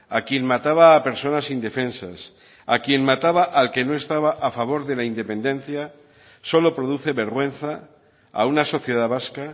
a quien mataba a personas indefensas a quien mataba al que no estaba a favor de la independencia solo produce vergüenza a una sociedad vasca